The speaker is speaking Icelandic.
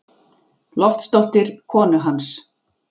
Loftsdóttur, konu hans.